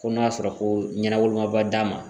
Ko n'a sɔrɔ ko ɲɛna wolomaba d'a ma